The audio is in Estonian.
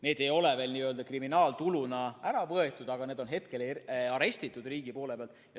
See vara ei ole veel n‑ö kriminaaltuluna ära võetud, aga see on hetkel riigi poolt arestitud.